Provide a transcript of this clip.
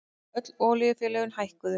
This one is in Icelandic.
Öll olíufélögin hækkuðu